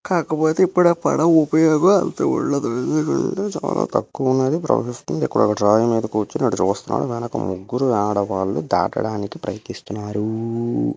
మీరు చూస్తే ఒక చెరువు ఈ చెరువు కాదు నాదిలో ఉన్న దాటడానికి పడవ కూడా ఉంది కాకపోతే ఇప్పుడు పడ ఉపయోగాలు ఉన్నాయో ఇక్కడ మీకు దాటడానికి ప్రయత్నిస్తున్నారు.